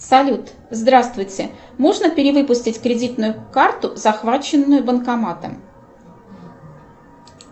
салют здравствуйте можно перевыпустить кредитную карту захваченную банкоматом